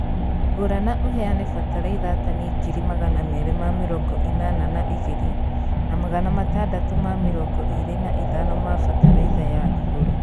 Gũra na ũheane bataraitha tani ngiri Magana merĩ ma mĩrongo ĩnana na igiri, na Magana matandatũ ma mĩrongo ĩrĩ na ithano ma bataraitha ya igũrũ